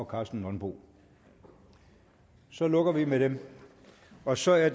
karsten nonbo så lukker vi med dem og så er